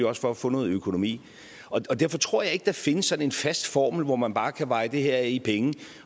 også for at få noget økonomi derfor tror jeg ikke at der findes sådan en fast formel hvor man bare kan veje det her af i penge